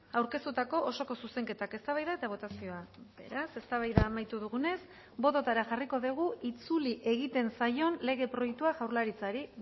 aurkeztutako osoko zuzenketak eztabaida eta botazioa beraz eztabaida amaitu dugunez bototara jarriko dugu itzuli egiten zaion lege proiektua jaurlaritzari